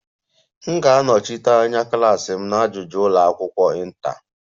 M ga-anọchite anya klas m na ajụjụ ụlọ akwụkwọ inter